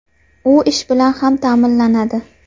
U ish bilan ham ta’minlanadi.